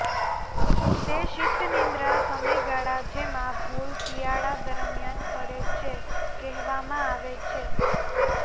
તે શીતનિદ્રા સમયગાળા જેમાં ભૂલ શિયાળા દરમિયાન પડે છે કહેવામાં આવે છે